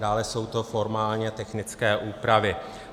Dále jsou to formálně technické úpravy.